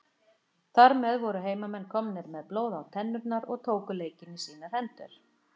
Þar með voru heimamenn komnir með blóð á tennurnar og tóku leikinn í sínar hendur.